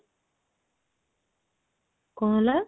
କଣ ହେଲା?